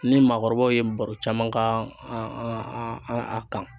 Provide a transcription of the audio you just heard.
Ni maakɔrɔbaw ye baro caman k'a an an an a kan.